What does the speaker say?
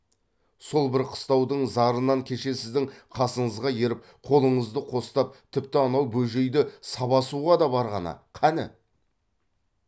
сол бір қыстаудың зарынан кеше сіздің қасыңызға еріп қолыңызды қостап тіпті анау бөжейді сабасуға да барғаны қані